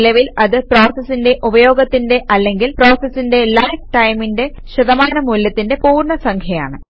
നിലവിൽ അത് പ്രോസസിന്റെ ഉപയോഗത്തിന്റെ അല്ലെങ്കിൽ പ്രോസസിന്റെ ലൈഫ് ടൈമിന്റെ ശതമാനമൂല്യത്തിന്റെ പൂർണ്ണ സംഖ്യയാണ്